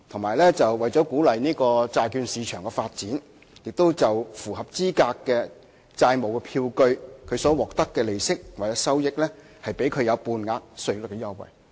另外，為了鼓勵債券市場的發展，政府亦對符合資格的債務票據所獲得的利息或收益，給予半額稅率優惠。